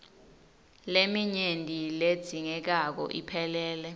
leminyenti ledzingekako iphelele